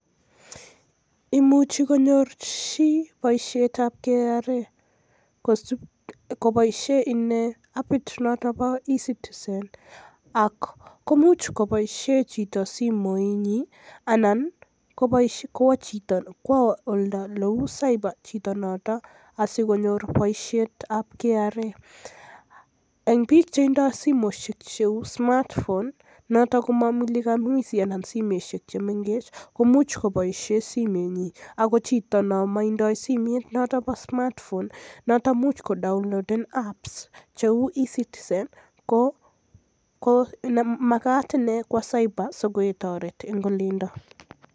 Imuche konyor chi boisiet nebo KRA koboisien apit nebo eCitizen ako imuch koboisien chito simoit nyin anan kowo chito cyber asikonyor boisiet ab KRA, en biik chetinye smartphone mo mulika mwizi akomo simoisiek chemengech komuch chito koboisien simenyin ako chito nemoinye smartphone el much kodownloaden app nebo eCitizen komagat kwo cyber asiketoret en olindo.